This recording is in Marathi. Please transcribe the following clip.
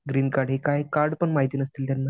ग्रीन कार्ड हे काय कार्ड पण माहित नसतील त्यांना.